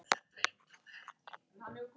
Elsku Inga frænka.